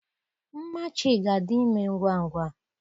Nmachi ga-adi ime ngwa ngwa